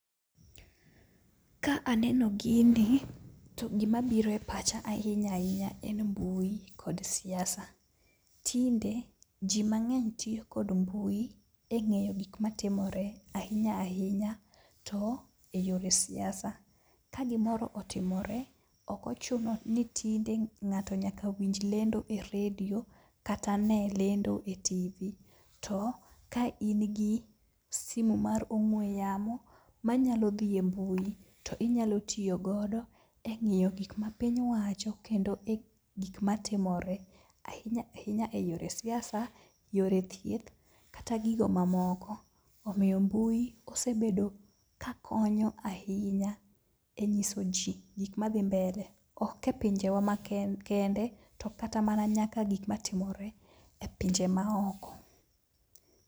Ka aneno gini to gima biro e pacha ahinya ahinya en mbui kod siasa. Tinde ji mang'eny tiyo kod mbui e ng'eyo gik matimore ahinya ahinya to e yore siasa. Ka gimoro otimore, okochuno ni tinde ng'ato nyaka winj lendo e redio kata ne lendo e TV. To ka in gi simu mar ong'we yamo manyalo dhi e mbui to inyalo tiyo godo e ng'iyo gik ma piny wacho kendo e gik ma timore. Ahinya ahinya e yore siasa, yore thieth, kata gigo mamoko. Omiyo mbui osebedo ka konyo ahinya e nyiso ji gik madhi mbele, ok e pinje wa ma kende, to kata mana nyaka gik matimore e pinje ma oko.